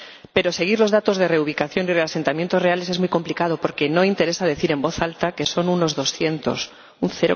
Pero seguir los datos de reubicación y de reasentamientos reales es muy complicado, porque no interesa decir en voz alta que son unos doscientos, un